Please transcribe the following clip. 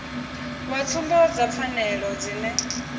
wa tsumbo dza pfanelo dzine